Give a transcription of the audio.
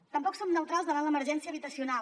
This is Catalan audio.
tampoc som neutrals davant l’emergència habitacional